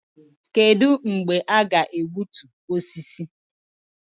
Kedụ mgbe a ga-egbutu osisi?